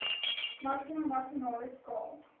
maksimum marginale skaal